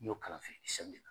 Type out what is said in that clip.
N y'o kalan a fɛ siɲɛ